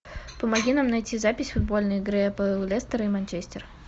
помоги нам найти запись футбольной игры апл лестер и манчестер